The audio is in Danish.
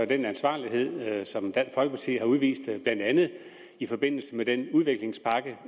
den ansvarlighed som dansk folkeparti har udvist blandt andet i forbindelse med den udviklingspakke